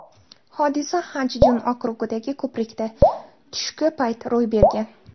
Hodisa Xanchjun okrugidagi ko‘prikda, tushki payt ro‘y bergan.